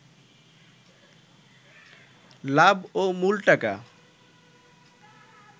লাভ ও মূল টাকা